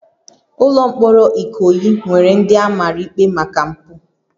Ụlọ mkpọrọ Ikoyi nwere ndị a mara ikpe maka mpụ